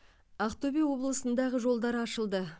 ақтөбе облысындағы жолдар ашылды